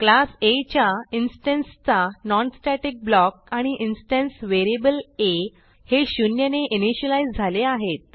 class आ च्या instance चा non स्टॅटिक ब्लॉक आणि इन्स्टन्स व्हेरिएबल आ हे शून्यने इनिशियलाईज झाले आहेत